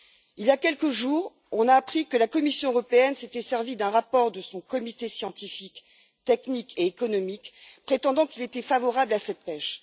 Il y a quelques jours, on a appris que la Commission européenne s'était servie d'un rapport de son comité scientifique, technique et économique, prétendant qu'il était favorable à cette pêche.